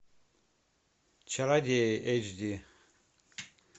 чародеи эйч ди